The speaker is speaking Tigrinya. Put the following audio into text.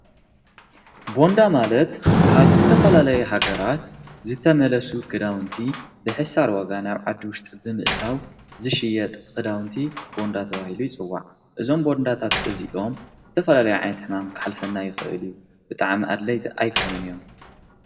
ቦንዳ ማለት ካብ ዝተፈላለይሃገራት ዝተመለሱ ክዳውንቲ ብሕሳር ወጋን ኣብዓዲ ውሽጢ ብምእታው ዝሽየጥ ኽዳውንቲ ቦንዳተ ዋሂሉ ይጽዋዕ እዞም በንዳታት እዚሎም ዝተፈለለይ ዓይተሕማም ክሓልፈና ይኽእል እዩ ብጥዓ ም ኣድለይቲ ኣይኮኑን እዮም።